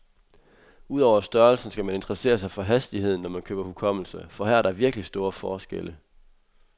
Ud over størrelsen skal man interessere sig for hastigheden, når man køber hukommelse, for her er der virkelig store forskelle.